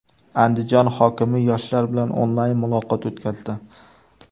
Andijon hokimi yoshlar bilan onlayn muloqot o‘tkazdi.